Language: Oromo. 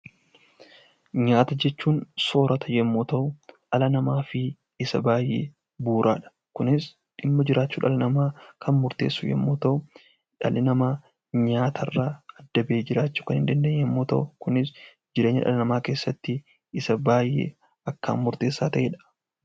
Nyaata jechuun soorrata yemmuu ta'u, dhala namaaf isa baayyee bu'uura. Kunis dhimma jiraachuu dhala namaa kan murteessu yoo ta'u, dhalli namaa nyaata irraa adda bahee jiraachuu kan hin dandeenye yemmuu ta'u, jireenya dhala namaa keessatti isa baayyee akkaan murteessaa ta'edha.